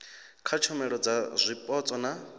kha tshumelo dza zwipotso na